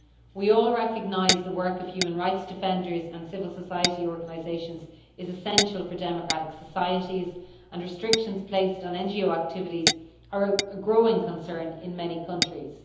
We all recognise that the work of human rights defenders and civil society organisations is essential for democratic societies, and restrictions placed on NGO activities are a growing concern in many countries.